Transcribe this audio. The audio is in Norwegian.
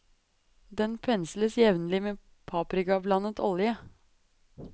Den pensles jevnlig med paprikablandet olje.